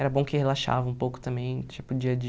Era bom que relaxava um pouco também, tipo, dia a